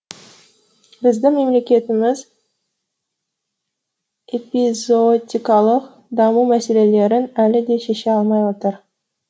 біздің мемлекетіміз эпизоотикалық даму мәселелерін әлі де шеше алмай отыр